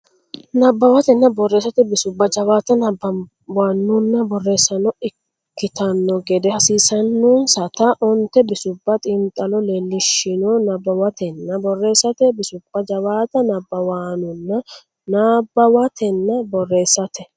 Nabbawatenna Borreessate Bisubba jawaata nabbawaanonna borreessaano ikkitanno gede hasiissannonsata onte bisubba xiinxallo leellishshino Nabbawatenna Borreessate Bisubba jawaata nabbawaanonna Nabbawatenna Borreessate.